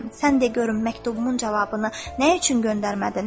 Sən de görüm məktubumun cavabını nə üçün göndərmədin?